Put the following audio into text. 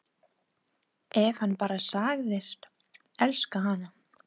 Ef hann bara segðist elska hana: